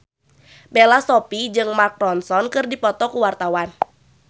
Bella Shofie jeung Mark Ronson keur dipoto ku wartawan